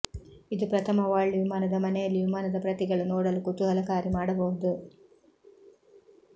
ಇದು ಪ್ರಥಮ ವರ್ಲ್ಡ್ ವಿಮಾನದ ಮನೆಯಲ್ಲಿ ವಿಮಾನದ ಪ್ರತಿಗಳು ನೋಡಲು ಕುತೂಹಲಕಾರಿ ಮಾಡಬಹುದು